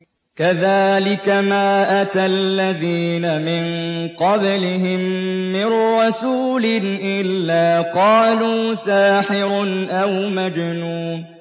كَذَٰلِكَ مَا أَتَى الَّذِينَ مِن قَبْلِهِم مِّن رَّسُولٍ إِلَّا قَالُوا سَاحِرٌ أَوْ مَجْنُونٌ